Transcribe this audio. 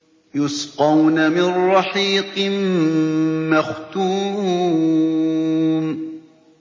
يُسْقَوْنَ مِن رَّحِيقٍ مَّخْتُومٍ